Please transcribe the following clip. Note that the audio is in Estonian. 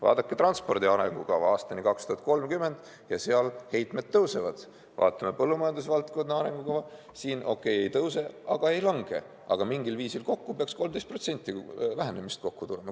Vaadake transpordi arengukava aastani 2030, ja seal heitmed tõusevad, vaatame põllumajandusvaldkonna arengukava, siin okei, ei tõuse, ei lange, aga mingil viisil kokku peaks 13% vähenemist tulema.